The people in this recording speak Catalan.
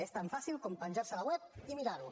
és tan fàcil com penjar se a la web i mirar ho